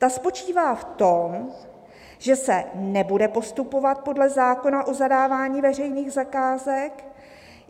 Ta spočívá v tom, že se nebude postupovat podle zákona o zadávání veřejných zakázek.